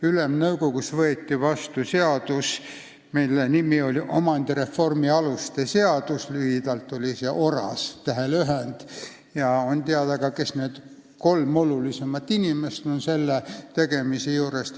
Ülemnõukogus võeti vastu omandireformi aluste seadus, tähtlühendina ORAS, ja on teada ka, kes olid need kolm olulisemat inimest selle tegemise juures.